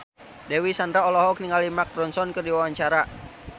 Dewi Sandra olohok ningali Mark Ronson keur diwawancara